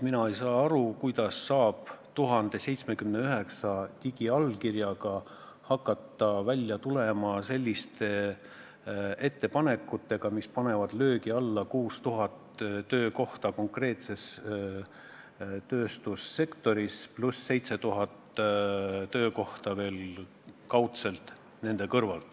Mina ei saa aru, kuidas saab 1079 digiallkirja alusel välja tulla selliste ettepanekutega, mis panevad löögi alla 6000 töökohta konkreetses tööstussektoris, pluss 7000 töökohta veel nende kõrval.